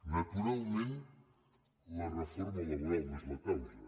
naturalment la reforma laboral no és la causa